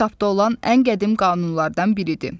Bu kitabda olan ən qədim qanunlardan biridir.